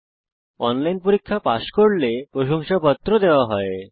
যারা অনলাইন পরীক্ষা পাস করে তাদের প্রশংসাপত্র দেওয়া হয়